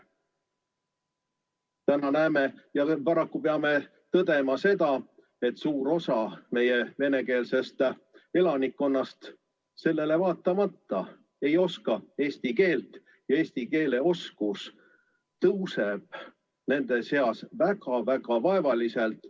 Täna näeme ja paraku peame tõdema seda, et suur osa meie venekeelsest elanikkonnast sellele vaatamata ei oska eesti keelt ja eesti keele oskus paraneb nende seas väga-väga vaevaliselt.